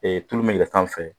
Ee tulu min bɛ yɛlɛn sanfɛ